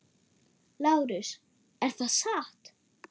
LÁRUS: Er það satt?